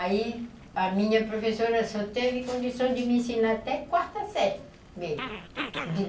Aí a minha professora só teve condição de me ensinar até quarta série mesmo